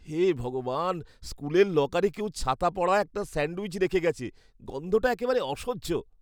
হে ভগবান, স্কুলের লকারে কেউ ছাতা পড়া একটা স্যান্ডউইচ রেখে গেছে। গন্ধটা একেবারে অসহ্য।